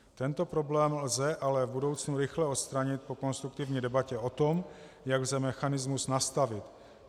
Tento problém lze ale v budoucnu rychle odstranit po konstruktivní debatě o tom, jak lze mechanismus nastavit.